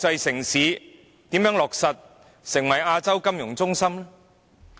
香港如何成為國際金融中心呢？